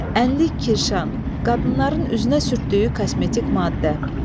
Ənlik-kirşan, qadınların üzünə sürtdüyü kosmetik maddə.